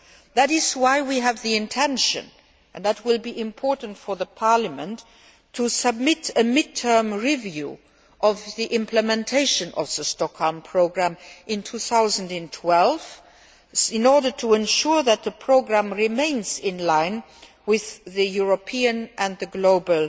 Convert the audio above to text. That is why we have the intention and this will be important for Parliament to submit a mid term review of the implementation of the Stockholm Programme in 2012, in order to ensure that the programme remains in line with European and global